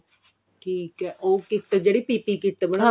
ਠੀਕ ਹੈ ਉਹ kit ਜਿਹੜੀ pity kit ਬਣਾ ਦੇ ਨੇ ਹਨਾ